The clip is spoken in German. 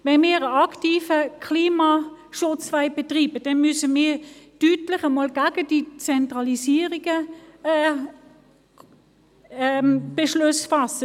Wenn wir aktiven Klimaschutz betreiben wollen, müssen wir einmal deutlich gegen die Zentralisierung vorgehen und Beschlüsse fassen.